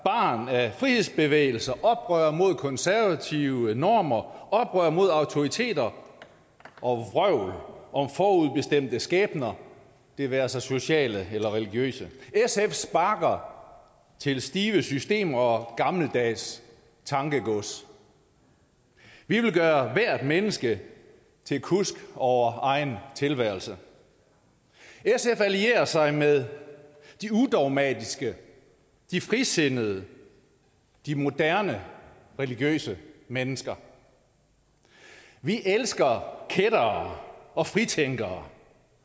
af frihedsbevægelser oprør mod konservative normer oprør mod autoriteter og vrøvl om forudbestemte skæbner det være sig sociale eller religiøse sf sparker til stive systemer og gammeldags tankegods vi vil gøre hvert menneske til kusk over egen tilværelse sf allierer sig med de udogmatiske de frisindede de moderne religiøse mennesker vi elsker kættere og fritænkere